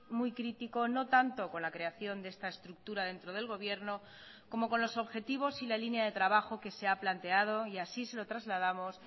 muy crítico no tanto con la creación de esta estructura dentro del gobierno como con los objetivos y la línea de trabajo que se ha planteado y así se lo trasladamos